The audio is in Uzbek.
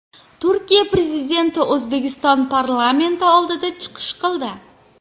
Turkiya Prezidenti O‘zbekiston parlamenti oldida chiqish qildi.